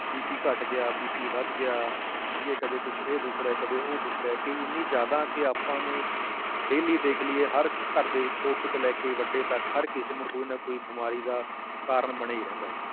BP ਘੱਟ ਗਿਆ BP ਵੱਧ ਗਿਆ, ਠੀਕ ਹੈ ਕਦੇ ਕੁਛ ਇਹ ਦੁਖ ਰਿਹਾ, ਕਦੇ ਉਹ ਦੁਖ ਰਿਹਾ ਕਿ ਇੰਨੀ ਜ਼ਿਆਦਾ ਕਿ ਆਪਾਂ ਨੂੰ daily ਦੇਖ ਲਈਏ ਹਰ ਘਰ ਦੇ ਵਿੱਚ ਛੋਟੇ ਤੋਂ ਲੈ ਕੇ ਵੱਡੇ ਤੱਕ ਹਰ ਕਿਸੇ ਨੂੰ ਕੋਈ ਨਾ ਕੋਈ ਬਿਮਾਰੀ ਦਾ ਕਾਰਨ ਬਣਿਆ ਹੀ ਰਹਿੰਦਾ ਹੈ।